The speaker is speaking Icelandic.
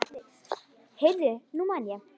Heyrðu, nú man ég.